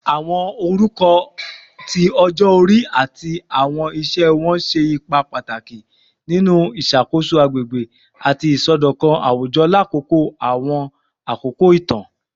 Awọn orukọ ti ọjọ-ori ati awọn iṣẹ wọn ṣe ipa pataki ninu iṣakoso agbegbe ati isọdọkan awujọ lakoko awọn akoko itan